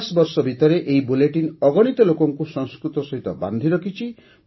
ପଚାଶ ବର୍ଷ ଭିତରେ ଏହି ବୁଲେଟିନ ଅଗଣିତ ଲୋକଙ୍କୁ ସଂସ୍କୃତ ସହିତ ବାନ୍ଧିରଖିଛି